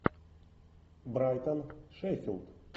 брайтон шеффилд